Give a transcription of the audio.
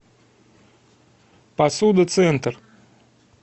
посуда центр